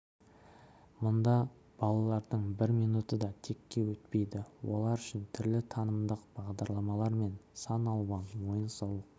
мұнда балалардың бір минуты да текке өтпейді олар үшін түрлі танымдық бағдарламалар мен сан алуан ойын-сауық